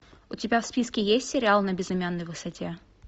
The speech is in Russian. у тебя в списке есть сериал на безымянной высоте